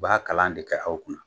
U b'a kalan de kɛ aw kunna